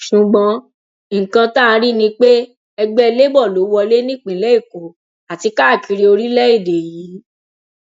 ṣùgbọn nǹkan tá a rí ni pé ẹgbẹ labour ló wọlé nípìnlẹ èkó àti káàkiri orílẹèdè yìí